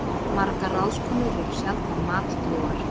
Margar ráðskonur eru sjaldan matdrjúgar.